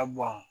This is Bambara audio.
Ka bɔn